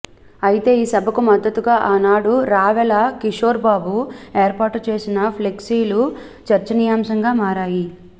అయితే ఈ సభకు మద్దతుగా ఆనాడు రావెల కిషోర్బాబు ఏర్పాటుచేసిన ఫ్లెక్సీలు చర్చనీయాంశంగా మారాయి